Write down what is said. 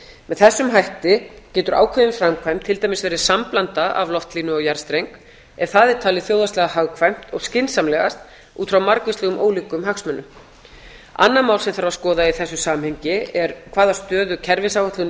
með þessum hætti getur ákveðin framkvæmd til dæmis verið samblanda af loftlínu og jarðstreng ef það er talið þjóðhagslega hagkvæmt og skynsamlegast út frá margvíslegum ólíkum hagsmunum annað mál sem þarf að skoða í þessu samhengi er hvaða stöðu kerfisáætlun